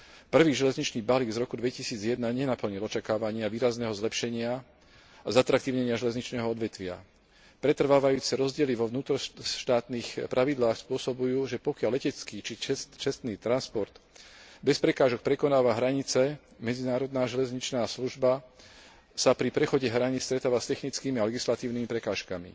Prvý železničný balík z roku 2001 nenaplnil očakávania výrazného zlepšenia a zatraktívnenia železničného odvetvia. Pretrvávajúce rozdiely vo vnútroštátnych pravidlách spôsobujú, že pokiaľ letecký či cestný transport bez prekážok prekonáva hranice, medzinárodná železničná služba sa pri prechode hraníc stretáva s technickými a legislatívnymi prekážkami.